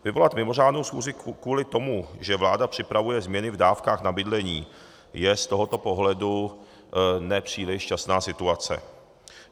Vyvolat mimořádnou schůzi kvůli tomu, že vláda připravuje změny v dávkách na bydlení, je z tohoto pohledu nepříliš šťastná situace.